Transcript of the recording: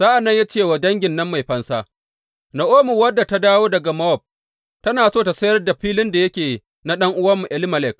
Sa’an nan ya ce wa dangin nan mai fansa, Na’omi, wadda ta dawo daga Mowab, tana so ta sayar da filin da yake na ɗan’uwanmu Elimelek.